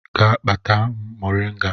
Gaa kpatara m moringa